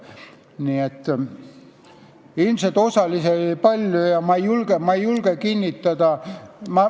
Nii et ilmselt oli osalisi palju.